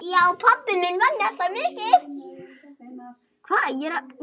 Já, pabbi vann alltaf mikið.